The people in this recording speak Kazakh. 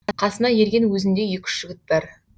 қасына ерген өзіндей екі үш жігіт бар